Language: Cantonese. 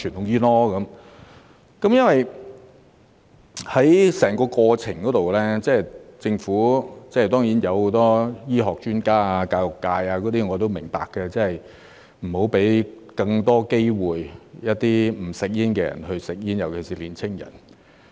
在整個過程中，政府當然提出了很多醫學專家和教育界人士的意見，我都明白不要讓一些不吸煙的人有更多機會吸煙，尤其是年輕人。